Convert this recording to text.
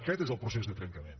aquest és el procés de trencament